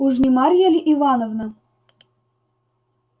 уж не марья ль ивановна